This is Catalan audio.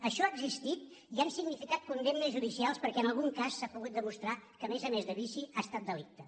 això ha existit i ha significat condemnes judicials perquè en algun cas s’ha pogut demostrar que a més a més de vici ha estat delicte